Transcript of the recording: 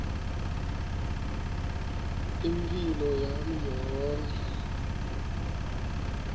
imphilo yami yonkhe